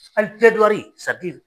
Hali